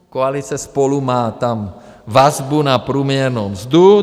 Koalice SPOLU má tam vazbu na průměrnou mzdu.